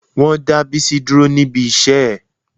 Wọ́n dá Bísí dúró níbi iṣẹ́ ẹ̀